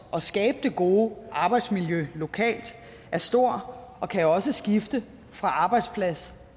at skabe det gode arbejdsmiljø lokalt er stor og kan også skifte fra arbejdsplads